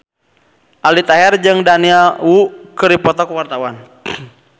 Aldi Taher jeung Daniel Wu keur dipoto ku wartawan